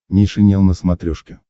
нейшенел на смотрешке